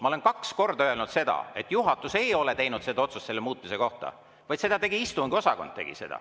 Ma olen kaks korda öelnud, et juhatus ei ole teinud otsust selle muutmise kohta, vaid selle tegi istungiosakond.